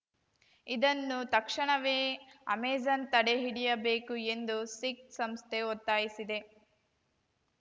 ಇದನ್ನು ತಕ್ಷಣವೇ ಅಮೆಜಾನ್‌ ತಡೆಹಿಡಿಯಬೇಕು ಎಂದು ಸಿಖ್‌ ಸಂಸ್ಥೆ ಒತ್ತಾಯಿಸಿದೆ